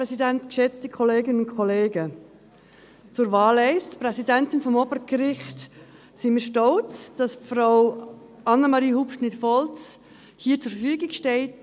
Zur ersten Wahl, Präsidentin des Obergerichts: Wir sind stolz, dass Frau Annemarie Hubschmid Volz hier zur Verfügung steht.